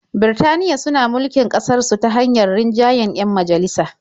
Birtaniya suna mulkin ƙasarsu ta hanyar rinjayen 'yan majalisa.